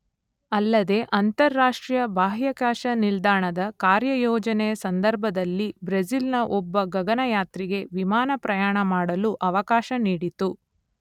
ಅಲ್ಲದೇ ಅಂತರರಾಷ್ಟ್ರೀಯ ಬಾಹ್ಯಾಕಾಶ ನಿಲ್ದಾಣದ ಕಾರ್ಯಯೋಜನೆಯ ಸಂದರ್ಭದಲ್ಲಿ ಬ್ರೆಜಿಲ್‌ನ ಒಬ್ಬ ಗಗನಯಾತ್ರಿಗೆ ವಿಮಾನ ಪ್ರಯಾಣಮಾಡಲು ಅವಕಾಶ ನೀಡಿತು.